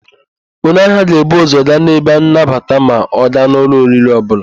Onye ahịa ga-ebu ụ́zọ̀ gaa n'ebe nnabata ma ọ gaa n' ụlọ oriri ọbụla.